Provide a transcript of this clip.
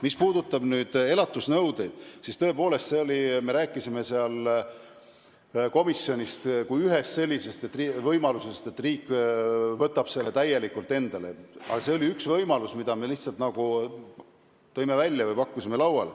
Mis puudutab elatisnõudeid, siis me rääkisime komisjonis ühest võimalusest, et riik võtab selle täielikult enda peale, aga see oli üks võimalus, mille me välja tõime.